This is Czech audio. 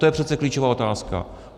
To je přece klíčová otázka.